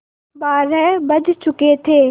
बारह बज चुके थे